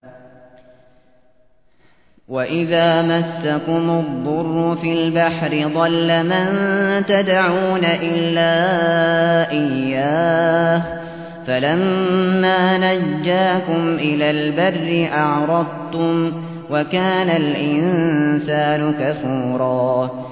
وَإِذَا مَسَّكُمُ الضُّرُّ فِي الْبَحْرِ ضَلَّ مَن تَدْعُونَ إِلَّا إِيَّاهُ ۖ فَلَمَّا نَجَّاكُمْ إِلَى الْبَرِّ أَعْرَضْتُمْ ۚ وَكَانَ الْإِنسَانُ كَفُورًا